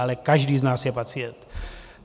Ale každý z nás je pacient.